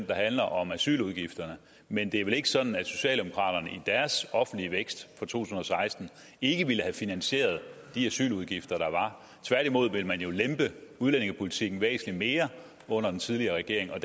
der handler om asyludgifterne men det er vel ikke sådan at socialdemokraterne i deres offentlige vækst for to tusind og seksten ikke ville have finansieret de asyludgifter der var tværtimod ville man jo lempe udlændingepolitikken væsentlig mere under den tidligere regering og